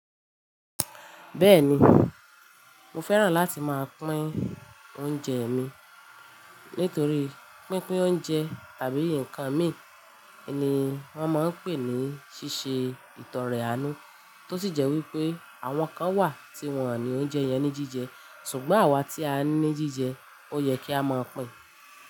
Bẹ́ẹ̀ni, mo fẹ́ràn láti máa pín oúnjẹ mi. Nítorí pínpín oúnjẹ tàbí nǹkan mìí ni wọ́n máa ń pè ní ṣíṣe ìtọrẹ àánú, tó sì jẹ́ wípé àwọn kan wà tí wón ní oúnjẹ yẹn ní jíjẹ ṣùgbọ́n àwa tí a ní jíjẹ ó yẹ kí á máa pín.